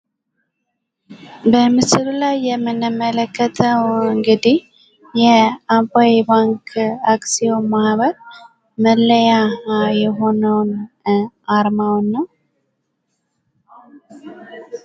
በምስሉ ላይ የምንመለከተው ኧ እንግዲህ የአባይ ባንክ አክሲዮን ማህበር መለያ የሆነውን ኧ አርማውን ነው ።